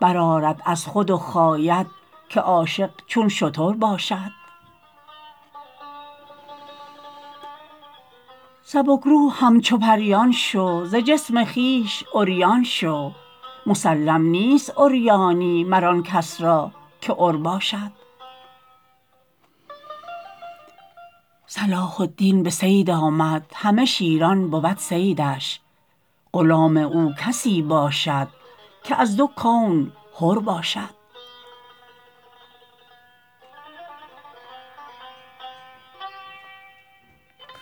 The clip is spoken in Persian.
برآرد از خود و خاید که عاشق چون شتر باشد سبک رو همچو پریان شو ز جسم خویش عریان شو مسلم نیست عریانی مر آن کس را که عر باشد صلاح الدین به صید آمد همه شیران بود صیدش غلام او کسی باشد که از دو کون حر باشد